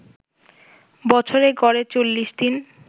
বছরে গড়ে ৪০ দিন